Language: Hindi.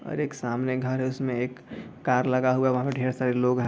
और एक सामने घर है उसमें एक कार लगा हुआ है वहाँ पर ढ़ेर सारे लोग हैं।